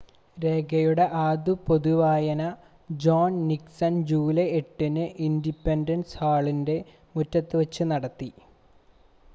രേഖയുടെ ആദ്യത്തെ പൊതുവായന ജോൺ നിക്‌സൺ ജൂലൈ 8-ന് ഇൻഡിപെൻഡൻസ് ഹാളിൻ്റെ മുറ്റത്ത് വച്ച് നടത്തി